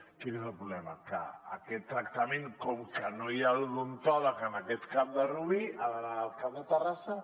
quin és el problema que aquest tractament com que no hi ha l’odontòleg en aquest cap de rubí ha d’anar al cap de terrassa